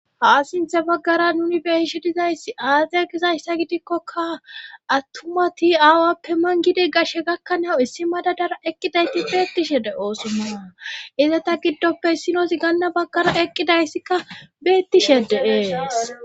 Ha sinthe baggara nuni beishi dizayssi aaze gizayssa gidikkoka attumati aawappe mangidi gashe gakkanawu issi madadara eqqidayti beettishe de oosummana izeta giddoppe issinozi ganna baggara eqqidayssikka beettishe de7eees.